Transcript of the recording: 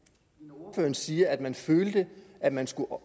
ordføreren siger at man følte at man skulle